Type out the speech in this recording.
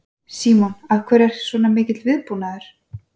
Símon: Af hverju er svona mikill viðbúnaður?